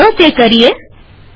તો ચાલો તે કરીએ